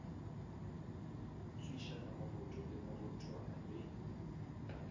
tswišana moroto le morothwana le